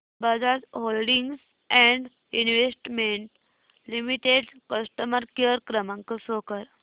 Bajaj holdings and investment limited customer care क्रमांक show कर